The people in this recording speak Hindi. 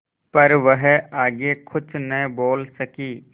पर वह आगे कुछ न बोल सकी